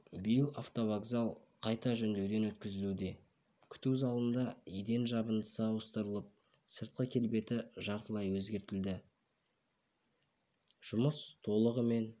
биыл автовокзал қайта жөндеуден өткізілуде күту залында еден жабындысы ауыстырылып сыртқы келбеті жартылай өзгертілді жұмыс толығымен